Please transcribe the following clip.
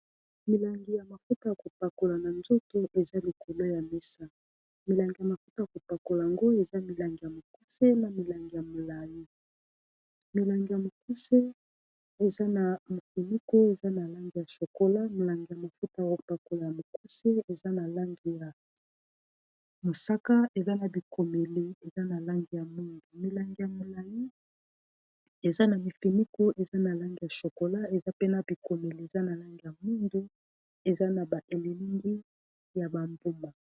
milangi ya mafuta ya kopakola na nzoto eza likolo ya mesa milangi ya mafuta ya kopakola yango ezamilangi ya mikuse na milai na langi ya mosaka ya mafuta ya kopakola ya mokuse eza na langi ya mosaka eza na bikomeli eza na langi ya moindo, ya molai eza na mifiniku eza na langi ya chokola eza pe na bikomeli eza na langi ya moindo eza na baelilingi ya bambuma.